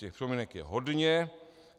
Těch připomínek je hodně.